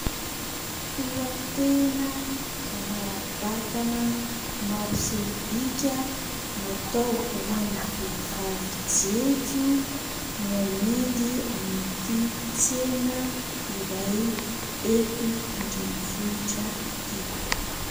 Tohitena manara-batana, mapiseho bika, natao ho an'ny vehivavy jejo no amidy amin'ity tsena iray eto Andrenivohitra ity.